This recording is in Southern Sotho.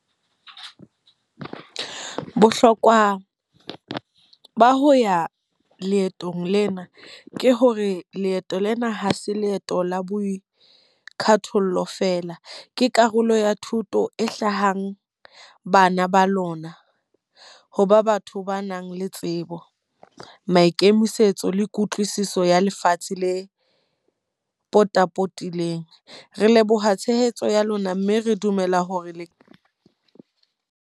Bohlokwa ba ho ya leetong lena, ke hore leeto lena ha se leeto la boikathollo feela. Ke karolo ya thuto e hlahang bana ba lona, hoba batho ba nang le tsebo, maikemisetso le kutlwisiso ya lefatshe le potapotileng. Re leboha tshehetso ya lona mme re dumela hore le.